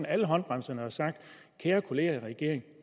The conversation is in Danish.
alle håndbremserne og sagt kære kolleger i regeringen